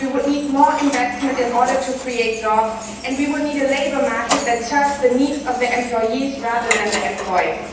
we need more investment in order to create jobs, and we need a labour market that serves the needs of the employees rather than employers.